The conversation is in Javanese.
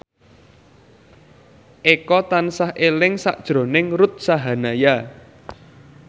Eko tansah eling sakjroning Ruth Sahanaya